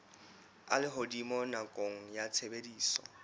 a lehodimo nakong ya tshebediso